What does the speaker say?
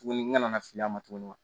Tuguni ŋa na fili a ma tuguni wa